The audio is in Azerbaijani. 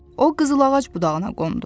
O qızıl ağac budağına qondu.